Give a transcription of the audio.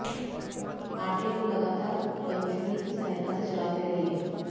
आटे को लगातार कंछुली की सहायता से चलाते रहिए